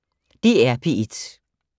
DR P1